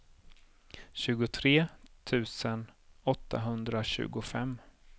tjugotre tusen åttahundratjugofem